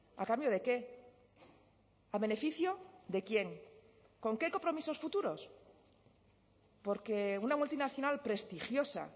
a cambio de qué a beneficio de quién con qué compromisos futuros por qué una multinacional prestigiosa